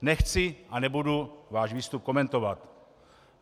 Nechci a nebudu váš výstup komentovat.